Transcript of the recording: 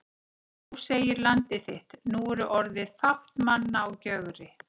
Þó segir Landið þitt: Nú er orðið fátt manna á Gjögri